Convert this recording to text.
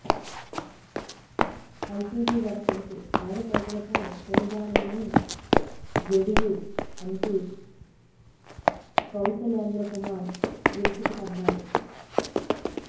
LPG ధర పెంపు పేద ప్రజలపై పెనుభారమని జెడియు ఎంపీ కౌశలేంద్ర కుమార్ విరుచుకుపడ్డారు